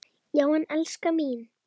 Já en, elskan mín.